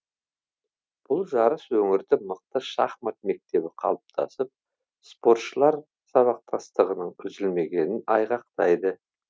бұл жарыс өңірді мықты шахмат мектебі қалыптасып спортшылар сабақтастығының үзілмегенін айғақтайды